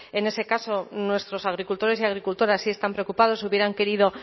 en ese caso nuestros agricultores y agricultoras sí están preocupados hubieran querido